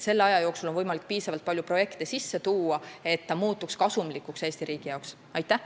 Selle aja jooksul on võimalik piisavalt palju projekte sisse tuua, et ta muutuks Eesti riigi jaoks kasumlikuks.